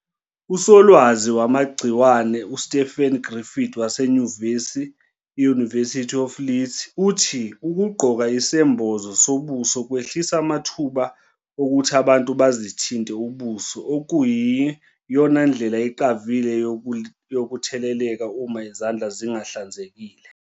Usolwazi wamagciwane uStephen Griffin wasenyuvesi i-University of Leeds uthi 'Ukugqoka isembozo sobuso kwehlisa amathuba okuthi abantu bazithinte ubuso, okuyiyina ndlela eqavile yokutheleleka uma izandla zingahlanzekile."